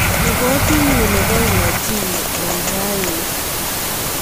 Ripotinyun nebo unajimu en rani